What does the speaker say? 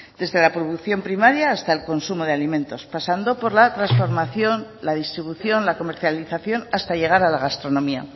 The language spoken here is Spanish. desde la producción primaria hasta el consumo de alimentos pasando por la transformación la distribución la comercialización hasta llegar a la gastronomía